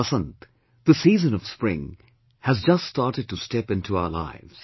Vasant, the season of spring has just started to step into our lives